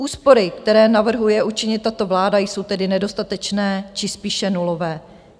Úspory, které navrhuje učinit tato vláda, jsou tedy nedostatečné či spíše nulové.